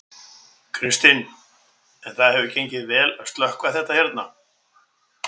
Kristinn: En það hefur gengið vel að slökkva þetta hérna?